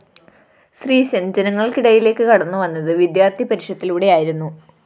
ശ്രീശന്‍ ജനങ്ങള്‍ക്കിടയിലേക്ക്‌ കടന്നുവന്നത്‌ വിദ്യാര്‍ത്ഥി പരിഷത്തിലൂടെയായിരുന്നു